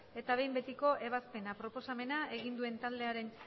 eta behin betiko ebazpena proposamena egin duen taldearen